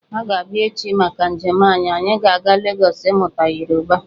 Ha ga-abịa echi maka njem anyị, anyị ga-aga Legọs ímụtá Yoruba